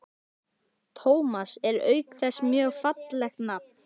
Tómas er auk þess mjög fallegt nafn.